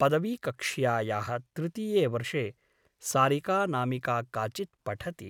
पदवी कक्ष्यायाः तृतीये वर्षे सारिकानामिका काचित् पठति ।